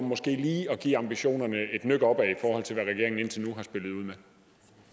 måske lige give ambitionerne et nøk opad i forhold til hvad regeringen indtil